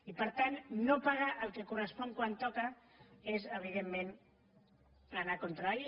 i per tant no pagar el que correspon quan toca és evidentment anar contra la llei